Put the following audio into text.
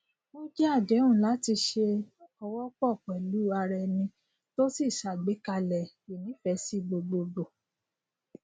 o jẹ àdéhùn láti se òwò pò pèlú araeni to sì ṣàgbékalẹ ìnífesi gbogbogbò